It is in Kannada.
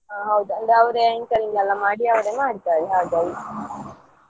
ಹಾ ಹೌದು ಅವರೇ anchoring ಎಲ್ಲ ಮಾಡಿ ಅವ್ರೆ ಮಾಡ್ತಾರೆ ಹಾಗೆ.